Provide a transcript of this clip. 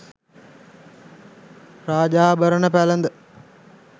රාජාභරණ පැළඳ